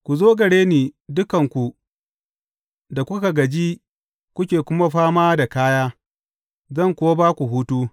Ku zo gare ni, dukanku da kuka gaji kuke kuma fama da kaya, zan kuwa ba ku hutu.